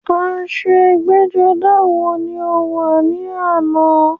Aṣọ ẹgbẹ́-jọdá wo ni o wọ̀ ní àná?